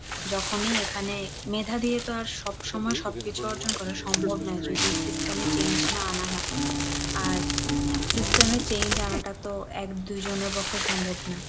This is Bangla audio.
যখনই এখানে মেধা দিয়ে তো আর সব সময় সব কিছু অর্জন করা সম্ভব নয়, যদি system এ change না আনা হয়। আর system এ change আনাটা তো এক দুজনের পক্ষে সম্ভব না।